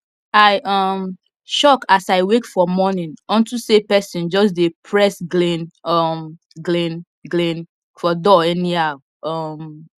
i um shock as i wake for morning unto say pesin jus dey press glin um glin glin for door anyhow um